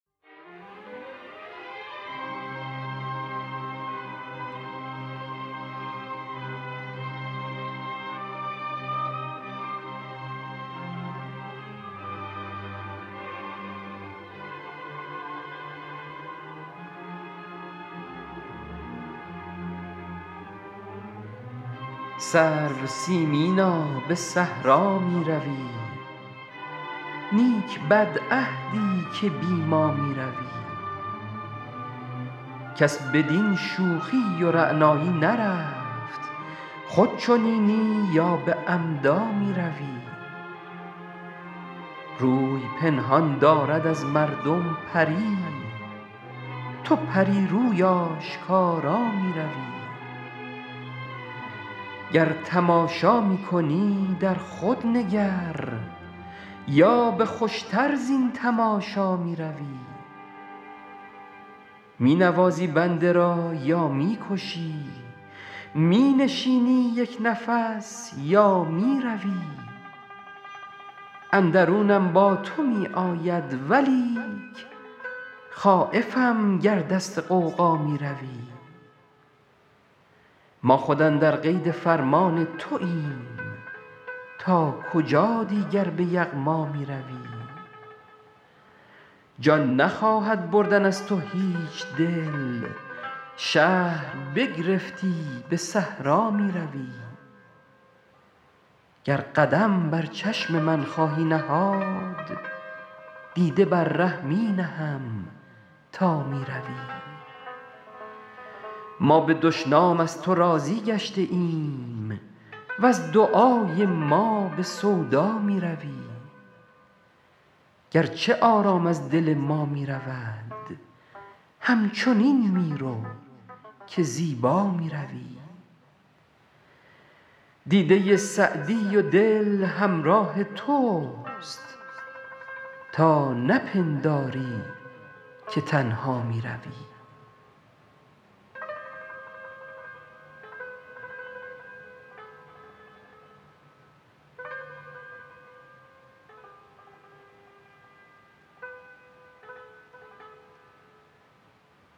سرو سیمینا به صحرا می روی نیک بدعهدی که بی ما می روی کس بدین شوخی و رعنایی نرفت خود چنینی یا به عمدا می روی روی پنهان دارد از مردم پری تو پری روی آشکارا می روی گر تماشا می کنی در خود نگر یا به خوش تر زین تماشا می روی می نوازی بنده را یا می کشی می نشینی یک نفس یا می روی اندرونم با تو می آید ولیک خایفم گر دست غوغا می روی ما خود اندر قید فرمان توایم تا کجا دیگر به یغما می روی جان نخواهد بردن از تو هیچ دل شهر بگرفتی به صحرا می روی گر قدم بر چشم من خواهی نهاد دیده بر ره می نهم تا می روی ما به دشنام از تو راضی گشته ایم وز دعای ما به سودا می روی گرچه آرام از دل ما می رود همچنین می رو که زیبا می روی دیده سعدی و دل همراه توست تا نپنداری که تنها می روی